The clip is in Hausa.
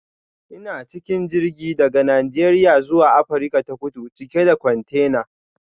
Ina cikin jirgi daga Najeriya zuwa Afirka ta Kudu cike da kwantena.